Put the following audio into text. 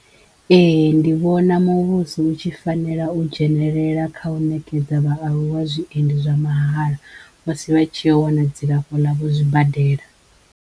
Ehe ndi vhona muvhuso hu tshi fanela u dzhenelela kha u ṋekedza vhaaluwa zwiendi zwa mahala musi vha tshiyo u wana dzilafho ḽavho zwibadela.